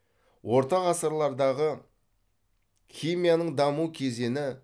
орта ғасырлардағы химияның даму кезені